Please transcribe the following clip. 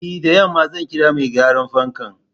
E, da yamma zan kira mai gyaran fankan.